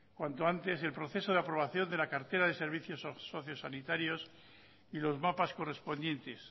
cuanto antes el proceso de aprobación de la cartera de servicios socio sanitarios y los mapas correspondientes